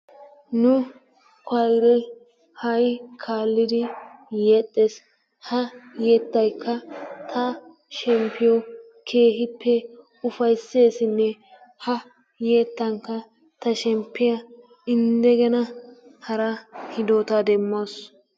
Nu kawayre ha'i kaalid yeexxes, ha yeettayka ta shemppiyo keehippe ufayssesinne ha yeettanka ta shemppiyaa 'indegena' hara hidootta demawussu.